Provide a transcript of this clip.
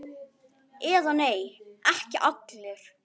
Eða nei, ekki allir!